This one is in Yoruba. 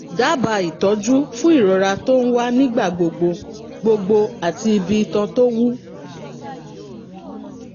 dábàá ìtọ́jú fún ìrora tó ń wá nígbà gbogbo gbogbo àti ibi itan tó wú